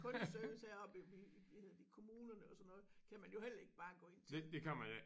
Kundeservice heroppe vi i hedder de kommunerne og sådan noget kan man jo heller ikke bare gå ind til